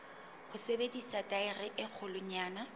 ho sebedisa thaere e kgolwanyane